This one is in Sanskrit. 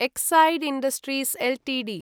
Exide Industries Ltd